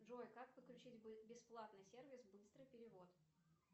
джой как подключить бесплатный сервис быстрый перевод